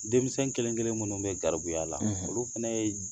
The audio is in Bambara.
Denmisɛnw kelen kelen minnu bɛ garibuya la olu fana ye